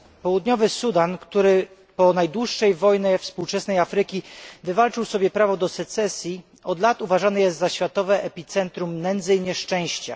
Południowy Sudan, który po najdłuższej wojnie współczesnej Afryki wywalczył sobie prawo do secesji, od lat uważany jest za światowe epicentrum nędzy i nieszczęścia.